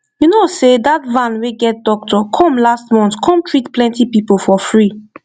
you know sey that van wey get doctor come last month come treat plenty people for free